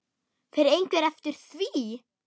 Fer einhver eftir því?